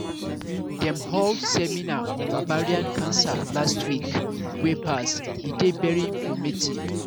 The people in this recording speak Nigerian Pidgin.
dem hold seminar on ovarian cancer last last week wey pass e dey very informative